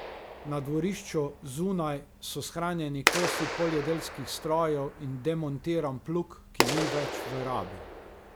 Na dvorišču, zunaj, so shranjeni kosi poljedelskih strojev in demontiran plug, ki ni več v rabi.